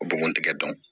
O bɔgɔ tɛgɛ dɔn